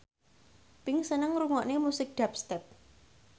Pink seneng ngrungokne musik dubstep